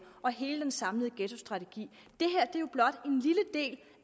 og hele den samlede ghettostrategi det